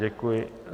Děkuji.